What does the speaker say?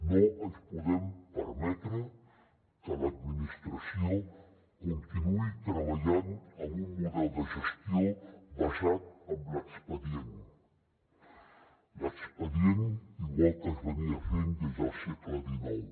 no ens podem permetre que l’administració continuï treballant amb un model de gestió basat en l’expedient l’expedient igual que es feia des del segle xix